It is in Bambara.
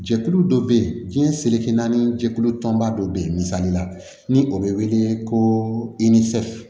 Jɛkulu dɔ bɛ yen diɲɛ seleke naani jɛkulu tɔnba dɔ bɛ yen misali la ni o bɛ wele ko